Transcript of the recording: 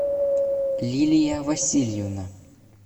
лилия васильевна